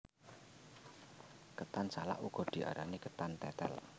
Ketan salak uga diarani ketan tetel